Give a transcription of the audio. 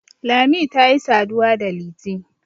lami ta yi saduwa da liti